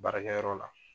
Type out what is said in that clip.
Baarakɛyɔrɔ la